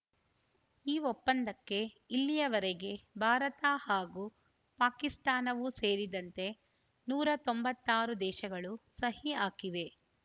ಈ ಒಪ್ಪಂದಕ್ಕೆ ಇಲ್ಲಿಯವರೆಗೆ ಭಾರತ ಹಾಗೂ ಪಾಕಿಸ್ತಾನವೂ ಸೇರಿದಂತೆ ನೂರ ತೊಂಬತ್ತ್ ಆರು ದೇಶಗಳು ಸಹಿ ಹಾಕಿವೆ